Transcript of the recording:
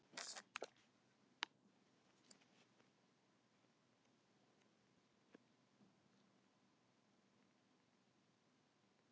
Hversu oft á dag leysir manneskja vind?